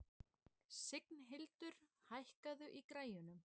Signhildur, hækkaðu í græjunum.